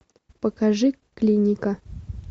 покажи клиника